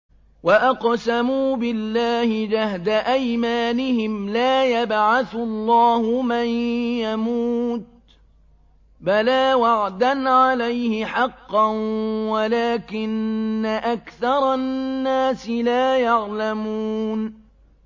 وَأَقْسَمُوا بِاللَّهِ جَهْدَ أَيْمَانِهِمْ ۙ لَا يَبْعَثُ اللَّهُ مَن يَمُوتُ ۚ بَلَىٰ وَعْدًا عَلَيْهِ حَقًّا وَلَٰكِنَّ أَكْثَرَ النَّاسِ لَا يَعْلَمُونَ